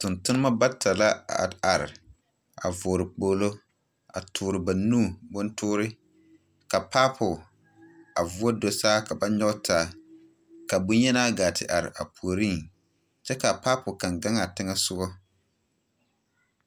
Tontonema bata la a are are, a vɔgle kpoglo, a toore ba nu bontoore, ka paapo, a voɔ do saa ka ba nyɔge taa, ka boŋ-yenaa gaa te are a puoriŋ, kyɛ kaa paapo kaŋ gaŋaa teŋɛsogɔ.